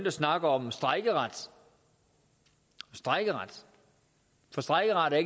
at snakke om strejkeret strejkeret for strejkeret er